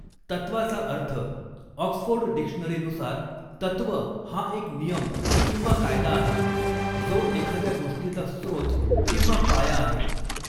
तत्त्वाचा अर्थः ऑक्सफोर्ड डिक्शनरीनुसार तत्त्व हा एक नियम किंवा कायदा आहे जो एखाद्या गोष्टीचा स्त्रोत किंवा पाया आहे.